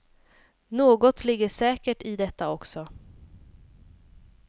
Något ligger säkert i detta också.